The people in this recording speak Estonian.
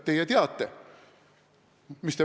Teie teate.